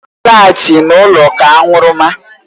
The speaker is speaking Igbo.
Ọ lọghachiri n'ụlọ ka aṅụrụma.